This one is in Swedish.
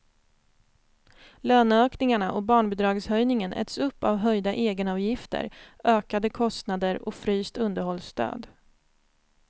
Löneökningarna och barnbidragshöjningen äts upp av höjda egenavgifter, ökade kostnader och fryst underhållsstöd.